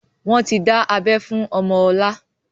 Wọn tí dá abẹ fún ọmọ ọlá